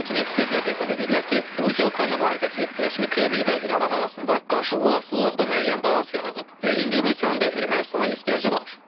Lakin ekspertlər hesab edirlər ki, Rusiya-Ukrayna müharibəsi rəsmi Kreml və İrəvan arasında qarşılıqlı asılılıqda müəyyən balans yaradıb və indi Rusiyanın da Ermənistana ehtiyacı var.